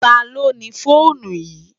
Táló ni fónú yi?